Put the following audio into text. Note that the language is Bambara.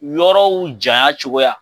Yɔrɔw janya cogoya